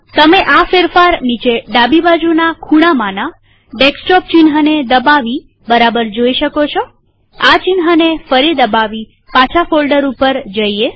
તમે આ ફેરફાર નીચે ડાબીબાજુના ખૂણામાંના ડેસ્કટોપ ચિહ્નને દબાવી બરાબર જોઈ શકો છોઆ ચિહ્નને ફરી દબાવી પાછા ફોલ્ડર ઉપર જઈએ